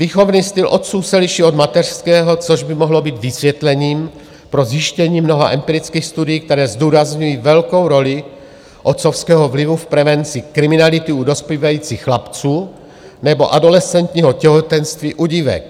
Výchovný styl otců se liší od mateřského, což by mohlo být vysvětlením pro zjištění mnoha empirických studií, které zdůrazňují velkou roli otcovského vlivu v prevenci kriminality u dospívajících chlapců nebo adolescentního těhotenství u dívek.